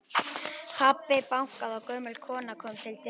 Pabbi bankaði og gömul kona kom til dyra.